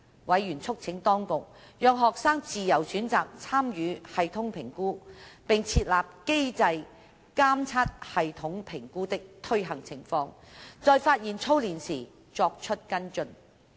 委員促請當局讓學生自由選擇參與系統評估，並設立機制監察系統評估的推行情況，在發現操練時作出跟進。